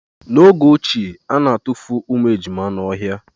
N'oge ochie, ana atufu ụmụ ejima n'ọhịa.